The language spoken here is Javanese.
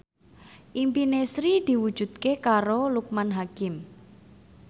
impine Sri diwujudke karo Loekman Hakim